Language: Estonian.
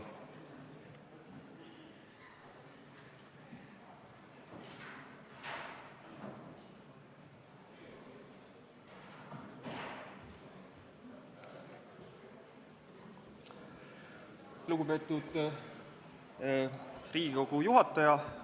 Lugupeetud Riigikogu juhataja!